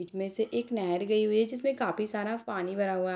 बीच में से एक नहर गई हुई है जिसमें काफी सारा पानी भरा हुआ --